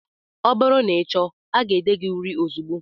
Ọ bụrụ na ị chọọ, aga ede gị uri ozugbo